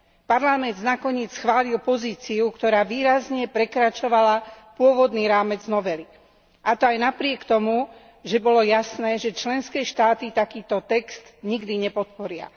Parlament nakoniec schválil pozíciu, ktorá výrazne prekračovala pôvodný rámec novely, a to aj napriek tomu, že bolo jasné, že členské štáty takýto text nikdy nepodporia.